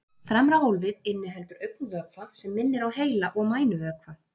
Fremra hólfið inniheldur augnvökva sem minnir á heila- og mænuvökva.